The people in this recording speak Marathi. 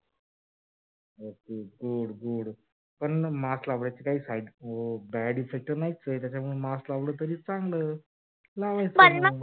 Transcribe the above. good good good पण न म mask लावायचे काही bad effects नाहीच आहेत त्याच्यामुळे mask लावलं तरी चांगलाच लावायचं मग?